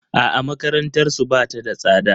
A'a makarantarsu ba ta da tsada.